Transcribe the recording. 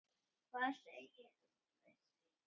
Hvað segir þú við því?